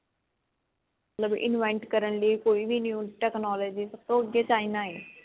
ਮਤਲਬ invent ਕਰਨ ਲਈ ਕੋਈ ਵੀ new technology ਸਭ ਤੋਂ ਅੱਗੇ china ਹੈ